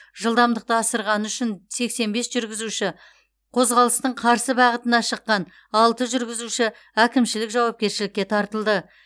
жылдамдықты асырғаны үшін сексен бес жүргізуші қозғалыстың қарсы бағытына шыққан алты жүргізуші әкімшілік жауапкершілікке тартылды